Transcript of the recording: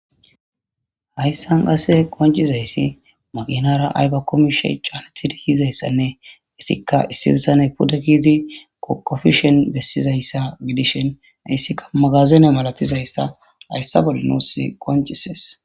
Hayissani qasse qoncidayisi makinara ayiko qomo mishi deyizasane etikka issi na'azi pude keyid qoqofishe Besizaisa gidishin hayika magazine malatidayissa hayissa bolla nus qoncises